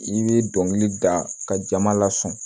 I bɛ dɔnkili da ka jama lasunɔgɔ